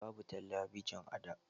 Babu talabijin a da.